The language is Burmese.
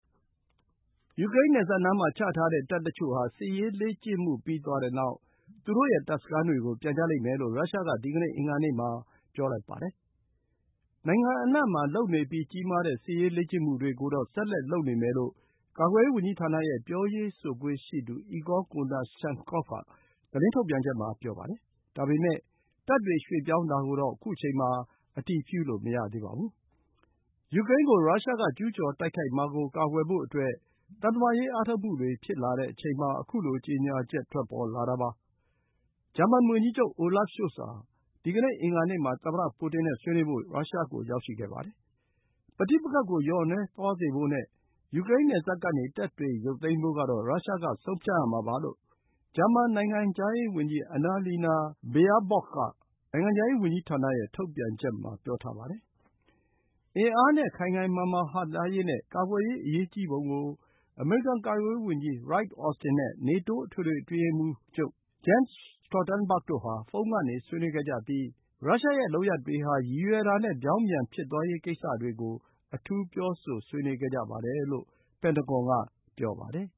ယူကရိန်းနယ်စပ်နားမှာချထားတဲ့ တပ်တချို့ဟာ စစ်ရေးလေ့ကျင့်မှုပြီးသွားတဲ့နောက် သူတို့ရဲ့ တပ်စခန်းတွေ ကို ပြန်ကြလိမ့်မယ်လို့ ရုရှားက ဒီကနေ့ အင်္ဂါနေ့မှာ ပြောပါတယ်။ နိုင်ငံအနှံ့မှာလုပ်နေပြီး ကြီးမားတဲ့စစ်ရေး လေ့ကျင့်မှုတွေကိုတော့ ဆက်လက် လုပ်နေမယ်လို့ ကာကွယ်ရေးဝန်ကြီးဌာနရဲ့ ပြောရေးဆိုခွင့်ရှိသူ Igor Konashenkov က သတင်းထုတ်ပြန်ချက်မှာ ပြောပါတယ်။ ဒါပေမယ့် တပ်တွေ ရွှေ့ပြောင်းတာကိုတော့ ခု အချိန်မှာ အတည်ပြုလို့မရသေးပါဘူး။ ယူကရိန်းကို ရုရှားက ကျူးကျော်တိုက်ခိုက်မှာကိုကာကွယ်ဖို့ သံတမန်ရေးအားထုတ်မှုတွေ ဖြစ်လာတဲ့အချိန် မှာ ခုလို ကြေညာချက် ထွက်ပေါ်လာတာပါ။ ဂျာမန်ဝန်ကြီးချုပ် Olaf Scholz ဟာ ဒီကနေ့ အင်္ဂါနေ့မှာ သမ္မတ ပူတင်နဲ့ ဆွေးနွေးဖို့ ရုရှားကို ရောက်ရှိခဲ့ပါတယ်။ ပဋိပက္ခကို လျော့နည်းသွားစေဖို့နဲ့ ယူကရိန်းနယ်စပ်ကနေ တပ်တွေ ရုပ်သိမ်းဖို့ကတော့ ရုရှားက ဆုံးဖြတ်ရမှာပါ” လို့ ဂျာမန် နိုင်ငံခြားရေးဝန်ကြီး Annalena Baerbock က နိုင်ငံခြားရေးဝန်ကြီးဌာနရဲ့ထုတ်ပြန်ချက်မှာ ပြောထားပါတယ်။ အင်အားနဲ့ ခိုင်ခိုင်မာမာဟန့်တားရေးနဲ့ ကာကွယ်ရေးအရေးကြီးပုံကို အမေရိကန် ကာကွယ်ရေးဝန်ကြီး Lloyd Austin နဲ့ နေတိုး အထွေထွေအတွင်းရေးမှူး Jens Stoltenberg တို့ ဖုန်းကနေ ဆွေးနွေးခဲ့ကြပြီး ရုရှားရဲ့ လုပ်ရပ်တွေဟာ ရည်ရွယ်တာနဲ့ ပြောင်းပြန် ဖြစ်သွားရေးကိစ္စတွေကို အထူး ပြောဆိုဆွေးနွေးခဲ့ကြပါတယ်လို့ ပင်တဂွန်က ပြောပါတယ်